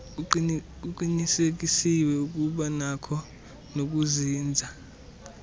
kuqinisekiswe ukubanakho nokuzinza